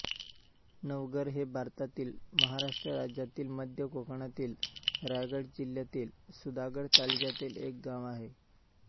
नवघर हे भारतातील महाराष्ट्र राज्यातील मध्य कोकणातील रायगड जिल्ह्यातील सुधागड तालुक्यातील एक गाव आहे